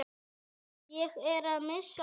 Ég er að missa hárið.